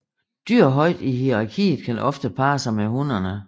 Dyr højt i hierarkiet kan oftere parre sig med hunnerne